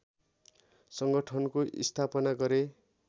सङ्गठनको स्थापना गरे